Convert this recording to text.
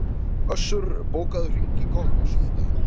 Össur, bókaðu hring í golf á sunnudaginn.